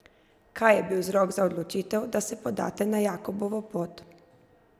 Kaj je bil vzrok za odločitev, da se podate na Jakobovo pot?